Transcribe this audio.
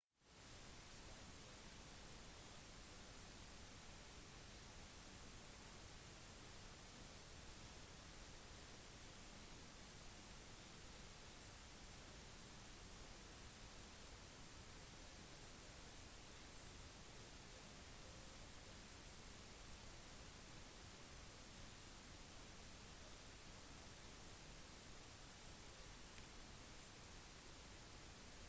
slike barn blir kalt for villunger". noen ville barn har blitt holdt i fangenskap av menneskervanligvis sine egne foreldre i noen tilfeller skyldtes dette foreldrenes avvisning av et barns alvorlige intellektuelle eller fysiske svekkelser